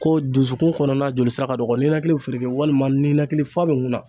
Ko dusukun kɔnɔna jolisira ka dɔgɔ ninakili be feereke walima ninakili f'a be ŋunna